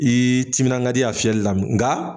I timina ka di a fiyɛli la nka